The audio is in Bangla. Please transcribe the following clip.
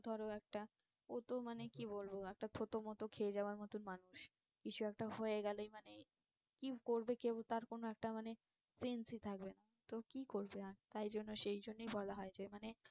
ধরো একটা ওতো মানে কি বলবো একটা থতমত খেয়ে যাওয়ার মতন মানুষ কিছু একটা হয়ে গেলেই মানে কি করবে কেউ তার কোনো একটা মানে sense ই থাকবে না। তো কি করবে তাই জন্য সেই জন্যই বলা হয় যে মানে